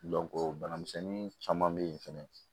bana misɛnnin caman be yen fɛnɛ